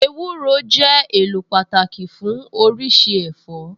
Ewúro jẹ́ èlò pàtàkì fún oríṣi ẹ̀fọ́